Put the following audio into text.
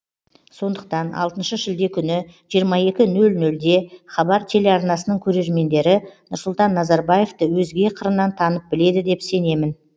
сондықтан алтыншы шілде күні жиырма екі нөл нөлде хабар телеарнасының көрермендері нұрсұлтан назарбаевты өзге қырынан танып біледі деп сенемін